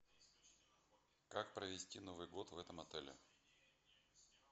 как провести новый год в этом отеле